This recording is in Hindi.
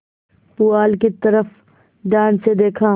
पुआल की तरफ ध्यान से देखा